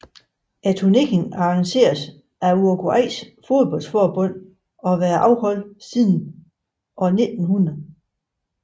Turneringen arrangeres af Uruguays fodboldforbund og har været afholdt siden år 1900